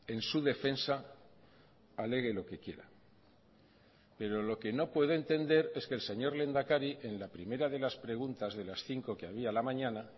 en su defensa alegue lo que quiera pero lo que no puedo entender es que el señor lehendakari en la primera de las preguntas de las cinco que había a la mañana